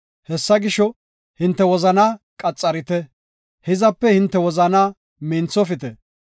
Hessa gisho, hinte wozanaa qaxarite; hizape hinte wozanaa minthofite.